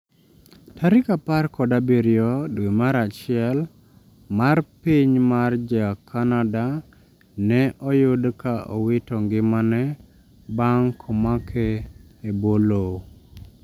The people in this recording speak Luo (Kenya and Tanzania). Tarik apar kod abirio dwe mar achiel: mar piny mar ja canada ne oyud ka owito ngimane bang' komake e bwo lowo